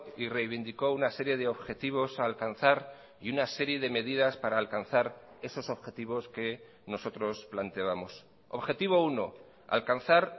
y reivindicó una serie de objetivos a alcanzar y una serie de medidas para alcanzar esos objetivos que nosotros planteábamos objetivo uno alcanzar